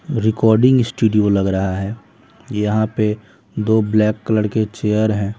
Recording studio लग रहा है यहां पे दो ब्लैक कलर के चेयर हैं।